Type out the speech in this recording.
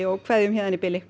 en kveðjum héðan í bili